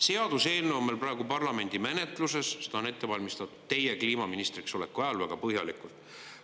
Seaduseelnõu on meil praegu parlamendis menetluses, seda on ette valmistatud teie kliimaministriks oleku ajal väga põhjalikult.